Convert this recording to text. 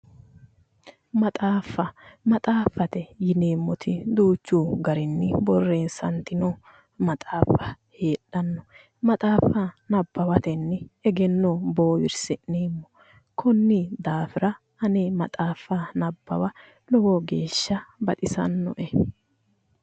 Maxaafa Maxaafate yineemoti duuchu garinii boreessanitino maxaafa hedhano maxaafa nabbawayenni egenno Boowieisi'nemo konni daafira ane maxaafa nabbawa lowo geesha baxisannoe